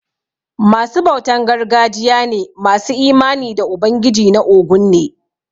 Ma su bautan gargajiya ne masu imani da ubangiji na óguñ ne.